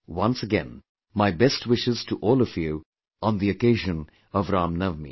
Once again, my best wishes to all of you on the occasion of Ramnavami